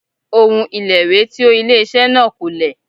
Òun ìlẹ̀wé tí ó ilé iṣẹ́ náà lò kò lè.